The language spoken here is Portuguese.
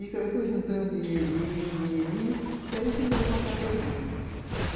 Eu fui juntando dinheirinho, dinheirinho, daí fizeram uma capelinha.